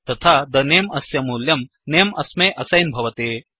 तथा the name अस्य मूल्यं नमे अस्मै असैन् भवति